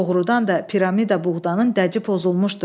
Doğrudan da piramida buğdanın dəci pozulmuşdu.